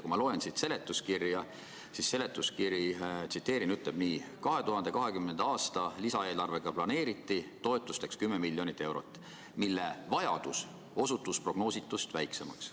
Kui ma loen seletuskirja, siis näen, et siin on öeldud nii: "2020. aasta lisaeelarvega planeeriti toetusteks 10 miljonit eurot, mille vajadus osutus prognoositust väiksemaks.